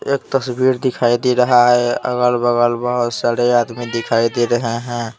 एक तस्वीर दिखाई दे रहा है अगल-बगल बहुत सारे आदमी दिखाई दे रहे हैं ।